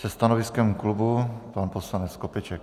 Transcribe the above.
Se stanoviskem klubu pan poslanec Skopeček.